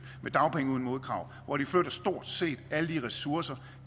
med dagpenge uden modkrav hvor de flytter stort set alle de ressourcer